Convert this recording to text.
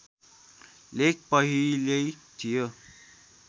लेख पहिल्यै थियो